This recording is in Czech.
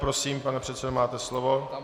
Prosím, pane předsedo, máte slovo.